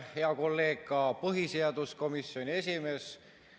Hea kolleeg põhiseaduskomisjoni esimees!